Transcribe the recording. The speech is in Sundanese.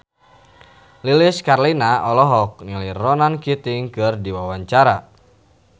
Lilis Karlina olohok ningali Ronan Keating keur diwawancara